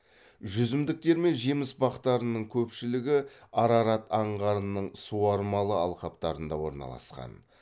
жүзімдіктер мен жеміс бақтарының көпшілігі арарат аңғарының суармалы алқаптарында орналасқан